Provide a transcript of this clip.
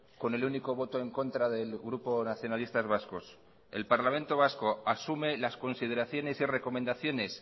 con el único voto en contra del grupo nacionalistas vascos el parlamento vasco asume las consideraciones y recomendaciones